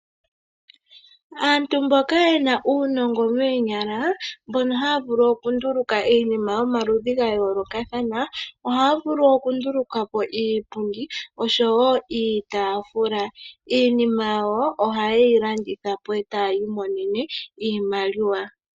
Aantu mbono yena uunongo moonyala nohaya vulu okunduluka iinima yomaludhi ga yoolokathana ohaya vulu oku ndulukapo iipundi oshowo iitafula. Iinima yawo oha yeyi landitha po etaya mono iimaliwa.